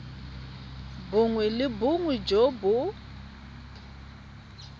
bongwe le bongwe jo bo